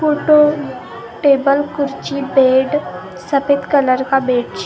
photo table खुर्ची bed सफ़ेद colour का बेडशीट --